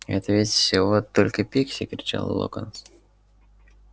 это ведь всего только пикси кричал локонс